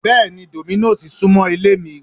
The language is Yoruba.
Bẹ́ẹ̀ni Domino's súmọ́ ilé mi